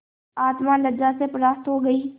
आत्मा लज्जा से परास्त हो गयी